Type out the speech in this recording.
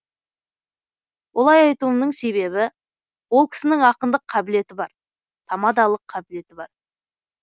олай айтуымның себебі ол кісінің ақындық қабілеті бар тамадалық қабілеті бар